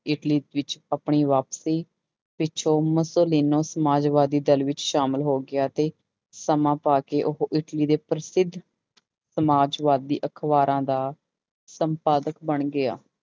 Italy ਵਿੱਚ ਆਪਣੀ ਵਾਪਸੀ ਪਿੱਛੋਂ ਮੁਸੋਲੀਨੋ ਸਮਾਜਵਾਦੀ ਸਮਾਜ ਵਿੱਚ ਸ਼ਾਮਿਲ ਹੋ ਗਿਆ ਤੇ ਸਮਾਂ ਪਾ ਕੇ ਉਹ ਇਟਲੀ ਦੇ ਪ੍ਰਸਿੱਧ ਸਮਾਜਵਾਦੀ ਅਖ਼ਬਾਰਾਂ ਦਾ ਸੰਪਾਦਕ ਬਣ ਗਿਆ।